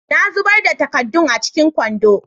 Na zubar da takaddun a cikin kwandon.